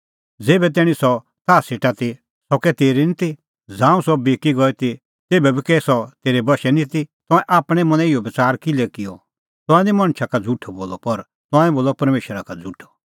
ज़ेभै तैणीं सह ताह सेटा ती सह कै तेरी निं ती ज़ांऊं सह बिकी गई ती तेभै बी कै सह तेरै बशै निं ती तंऐं आपणैं मनैं इहअ बच़ार किल्है किअ तंऐं निं मणछा का झ़ुठअ बोलअ पर तंऐं बोलअ परमेशरा का झ़ुठअ